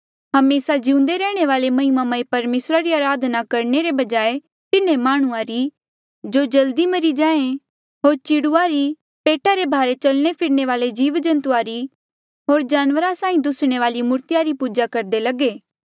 हमेसा जिउंदे रैहणे वाले महिमामय परमेसरा री अराधना करणे रे बजाय तिन्हें माह्णुंआं री जो जल्दी मरी जाये होर चिड़ुआ री पेटा रे भारे चलणे फिरणे वाले जीव जन्तु होर जानवरा साहीं दुसणे वाली मूर्तिया री पूजा करदे लगे